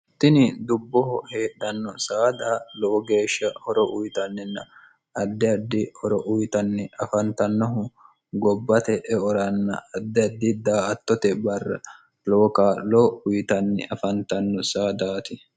tini dubboho heedhanno saada loo geeshsha horo uyitanninna addiardi horo uyitanni afantannohu gobbate eoranna addiddi daa attote barra loo ka loo uyitanni afantanno saadaati